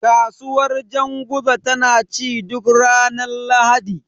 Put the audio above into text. Kasuwar janguza tana ci duk ranar Lahadi.